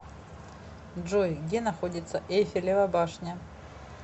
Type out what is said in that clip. джой где находится эйфелева башня